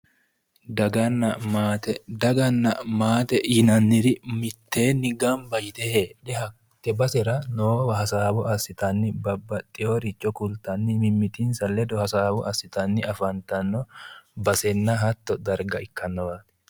daganna maate daganna maate yinanniri mitteenni gamba yite heedhe hatte basera noowa hasaawa assitanni babbaxeworicho kultanni mimitinsa ledo hasaawa assitanni afantanno basenna hatto darga ikkannowaati.